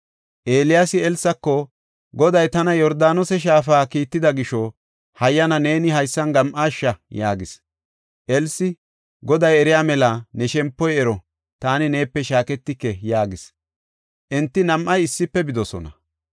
Eeliyaasi Elsako, “Goday tana Yordaanose Shaafa kiitida gisho, hayyana neeni haysan gam7aasha” yaagis. Elsi, “Goday eriya mela, ne shempoy ero! Taani neepe shaaketike” yaagis. Enti nam7ay issife bidosona.